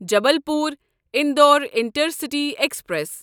Jabalpur Indore intercity express